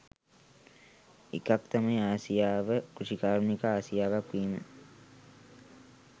එකක් තමයි ආසියාව කෘෂිකාර්මික ආසියාවක් වීම